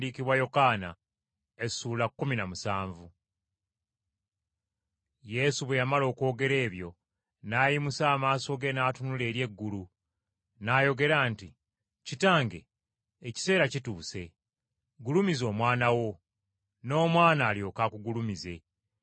Yesu bwe yamala okwogera ebyo n’ayimusa amaaso ge n’atunula eri eggulu, n’ayogera nti, “Kitange ekiseera kituuse. Gulumiza Omwana wo, n’omwana alyoke akugulumize,